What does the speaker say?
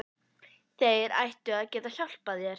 Þeir ættu að geta hjálpað þér.